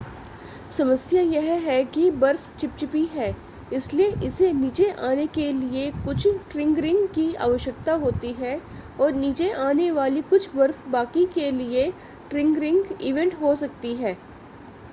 समस्या यह है कि बर्फ चिपचिपी है इसलिए इसे नीचे आने के लिए कुछ ट्रिगरिंग की आवश्यकता होती है और नीचे आने वाली कुछ बर्फ बाकी के लिए ट्रिगरिंग इवेंट हो सकती है